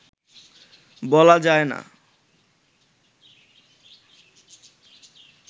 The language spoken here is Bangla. বলা যায় না